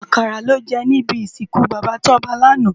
Akàrá lò jè nibi isinkú Baba Toba làná